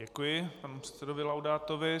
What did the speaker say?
Děkuji panu předsedovi Laudátovi.